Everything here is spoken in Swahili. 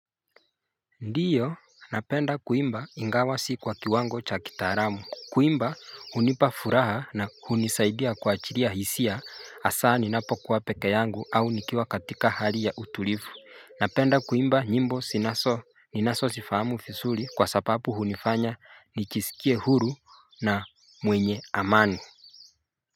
Ndio napenda kuimba ingawa si kwa kiwango cha kitaalamu. Kuimba hunipa furaha na hunisaidia kuachilia hisia hasa ninapokuwa peke yangu au nikiwa katika hali ya utulivu. Napenda kuimba nyimbo zinazo. Ninazozifahamu vizuri kwa sababu hunifanya nijisikie huru na mwenye amani.